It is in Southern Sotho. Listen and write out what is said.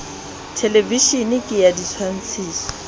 thelevisheneng ke a ditshwantshiso o